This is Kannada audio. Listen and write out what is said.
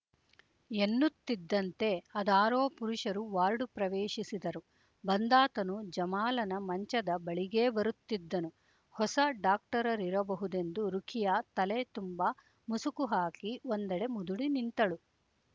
ಎನ್ನುತ್ತಿದ್ದಂತೆ ಅದಾರೊ ಪುರುಷರು ವಾರ್ಡು ಪ್ರವೇಶಿಸಿದರು ಬಂದಾತನು ಜಮಾಲನ ಮಂಚದ ಬಳಿಗೇ ಬರುತ್ತಿದ್ದನು ಹೊಸ ಡಾಕ್ಟರರಿರಬಹುದೆಂದು ರುಖಿಯಾ ತಲೆ ತುಂಬಾ ಮುಸುಕು ಹಾಕಿ ಒಂದೆಡೆ ಮುದುಡಿ ನಿಂತಳು